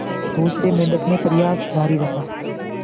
दूसरे मेंढक ने प्रयास जारी रखा